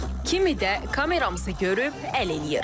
Kimi də kamerasını görüb əl eləyir.